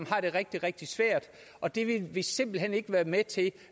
får det rigtig rigtig svært og det vil vi simpelt hen ikke være med til